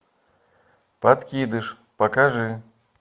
подкидыш покажи